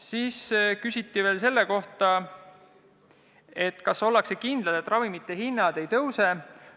Siis küsiti veel selle kohta, kas ollakse kindlad, et ravimite hinnad ei tõuse.